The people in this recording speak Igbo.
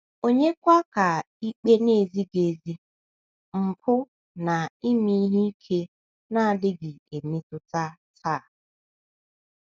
Ònyekwa ka ikpe na - ezighị ezi, mpụ, na ime ihe ike na - adịghị emetụta taa?